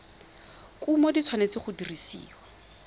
kumo di tshwanetse go dirisiwa